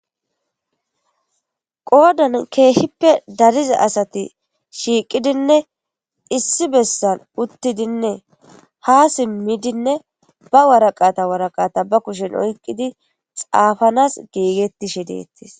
Qoodan keehippe dariza asati shiiqidinne issi bessan uttidinne ha simmidinne ba waraqata waraqata ba kushen oyqqidi xaafanas geegettishe deettis.